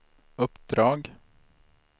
uppdrag